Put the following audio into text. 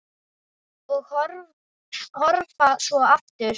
Og horfa svo aftur.